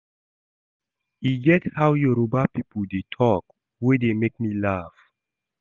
E get how yoruba people dey talk wey dey make me laugh